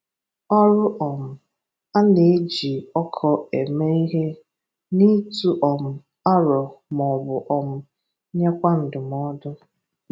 Ọrụ: um A na-eji ọkọ eme ihe n’ịtụ um aro maọbụ um nyekwa ndụmọdụ.